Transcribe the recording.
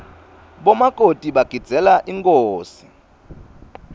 bomakoti bagidzeela inkhosi